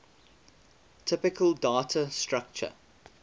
typical data structure